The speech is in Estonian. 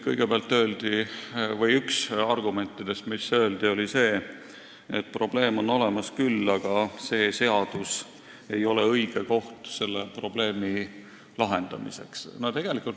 Kõigepealt, üks argumentidest, mis öeldi, oli see, et probleem on olemas küll, aga see seadus ei ole õige koht selle lahendamiseks.